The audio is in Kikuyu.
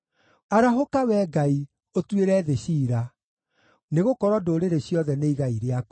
Arahũka, Wee Ngai, ũtuĩre thĩ ciira, nĩgũkorwo ndũrĩrĩ ciothe nĩ igai rĩaku.